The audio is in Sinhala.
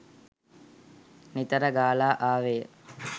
නිතර ගලා ආවේය.